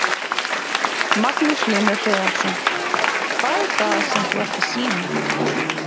Magnús Hlynur Hreiðarsson: Hvað er það sem þú ert að sýna?